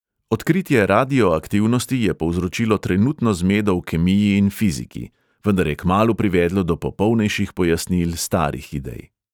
Odkritje radioaktivnosti je povzročilo trenutno zmedo v kemiji in fiziki; vendar je kmalu privedlo do popolnejših pojasnil starih idej.